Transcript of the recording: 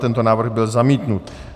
Tento návrh byl zamítnut.